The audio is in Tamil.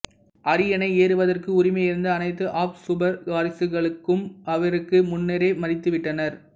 அரியணை ஏறுவதற்கு உரிமையிருந்த அனைத்து ஆப்சுபர்கு வாரிசுகளும் இவருக்கு முன்னரே மரித்து விட்டனர்